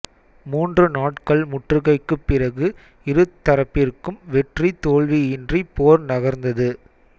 மூன்று நாட்கள் முற்றுகைக்குப் பிறகு இரு தரப்பிற்கும் வெற்றி தோல்வியின்றி போர் நகர்ந்தது